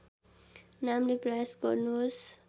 नामले प्रयास गर्नुहोस्